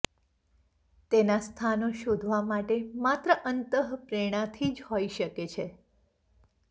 તેના સ્થાનો શોધવા માટે માત્ર અંતઃપ્રેરણાથી જ હોઇ શકે છે